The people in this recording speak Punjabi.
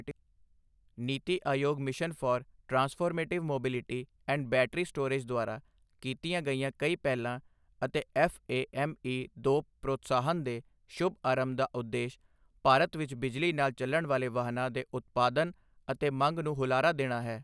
ਨੀਤੀ Aayog mission for transformative mobility and battery storage ਦੁਆਰਾ ਕੀਤੀਆਂ ਗਈਆਂ ਕਈ ਪਹਿਲਾਂ ਅਤੇ ਐੱਫਏਐੱਮਈ ਦੋ ਪ੍ਰੋਤਸਾਹਨ ਦੇ ਸ਼ੁਭ ਆਰੰਭ ਦਾ ਉਦੇਸ਼ ਭਾਰਤ ਵਿੱਚ ਬਿਜਲੀ ਨਾਲ ਚੱਲਣ ਵਾਲੇ ਵਾਹਨਾਂ ਦੇ ਉਤਪਾਦਨ ਅਤੇ ਮੰਗ ਨੂੰ ਹੁਲਾਰਾ ਦੇਣਾ ਹੈ।